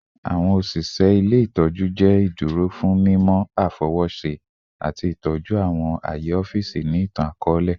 Awọn oṣiṣẹ ile-itọju jẹ iduro fun mimọ afọwọṣe ati itọju awọn aye ọfiisi ni itan-akọọlẹ